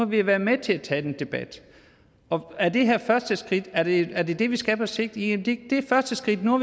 vi har været med til at tage den her debat er det her første skridt er det er det det vi skal på sigt jamen det er første skridt nu